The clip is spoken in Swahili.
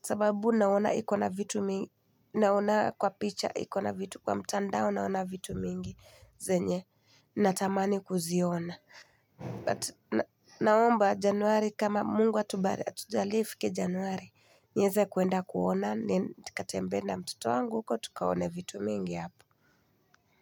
Sababu naona iko na vit naona kwa picha, kwa mtandao naona vitu mingi. Zenye, natamani kuziona. But na naomba januari kama mungu atuba atujalie ifike Januari. Nieze kuenda kuona ni katembee na mtoto wangu huko tukaone vitu mingi hapo.